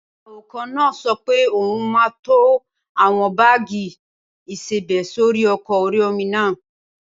Awakọ̀ náà sọ pé òun máa to àwọn báàgì ìsebẹ̀ sórí ọkọ̀ orí-omi náà